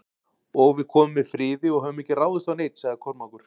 Og við komum með friði og höfum ekki ráðist á neinn, sagði Kormákur.